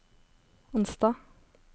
onsdag